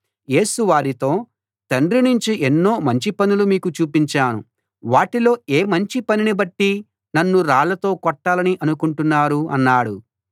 యేసు వారితో తండ్రి నుంచి ఎన్నో మంచి పనులు మీకు చూపించాను వాటిలో ఏ మంచి పనినిబట్టి నన్ను రాళ్ళతో కొట్టాలని అనుకుంటున్నారు అన్నాడు